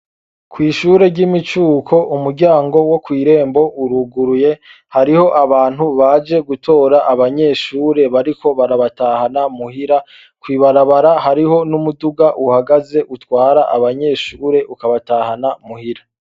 Kw'ishure ryimicuko, umuryango wo kw'irembo uruguruye. Hariho abantu baje gutora abanyeshure bariko barabatahana muhira, kw'ibarabara hariho n'umuduga uhagaze utwara abanyeshure ukabatahana muhira.